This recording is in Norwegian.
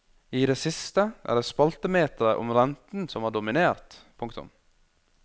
I det siste er det spaltemetere om renten som har dominert. punktum